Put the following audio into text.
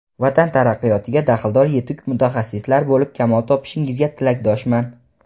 vatan taraqqiyotiga daxldor yetuk mutaxassislar bo‘lib kamol topishingizga tilakdoshman.